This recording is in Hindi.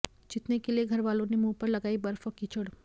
जितने के लिए घरवालों ने मुंह पर लगाई बर्फ और कीचड़